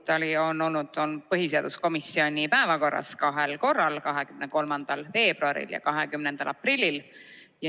Ka see eelnõu on olnud põhiseaduskomisjoni istungi päevakorras kahel korral, 23. veebruaril ja 20. aprillil.